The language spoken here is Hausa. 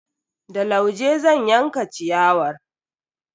Da lauje zan yanka ciyawar.